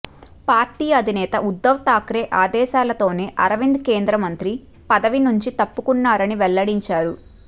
party అధినేత ఉద్ధవ్ ఠాక్రే ఆదేశాలతోనే అరవింద్ కేంద్రమంత్రి పదవి నుంచి తప్పుకున్నారని వెల్లడించారు